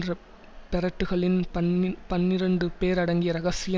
ரெப்பெரெட்டுக்களின் பன்னிப்பன்னிரண்டு பேர் அடங்கிய இரகசிய